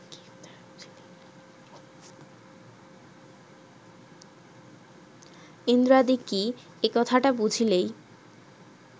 ইন্দ্রাদি কি, এ কথাটা বুঝিলেই